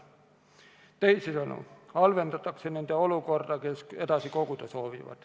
Teisisõnu, halvendatakse nende olukorda, kes soovivad edasi koguda.